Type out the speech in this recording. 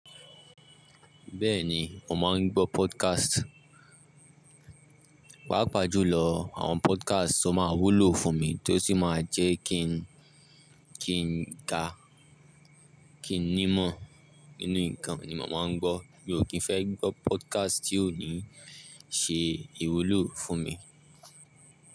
Bẹ́ẹ̀ni, mo máa ń gbọ́ podcast. Paapaá pàájù lọ àwọn podcast tó máa wúlò fún mi tó sì máa jẹ́ kí n, kí n ga, kí n nímọ̀ nínú nǹkan ni màá máa ń gbọ́. Mi ò kí ń fẹ́ gbọ́ podcast tí ò ní ṣe ìwúlò fún mi.